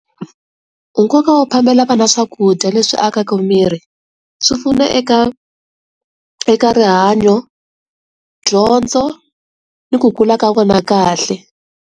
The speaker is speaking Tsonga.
Nkoka wo phamela vana swakudya leswi akaka miri swi pfuna eka eka rihanyo dyondzo ni ku kula ka vona kahle.